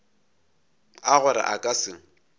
a gore a ka se